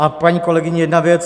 A paní kolegyně, jedna věc.